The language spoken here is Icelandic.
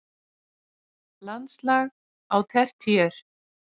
Landslag á tertíer